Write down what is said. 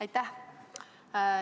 Aitäh!